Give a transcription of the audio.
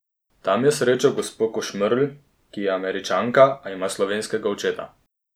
Tam je srečal gospo Košmerl, ki je Američanka, a ima slovenskega očeta.